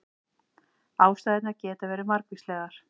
Ástæðurnar geta verið margvíslegar